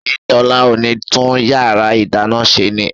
ṣé Tọ́lá ò ní tún yàrá ìdáná ṣe ni?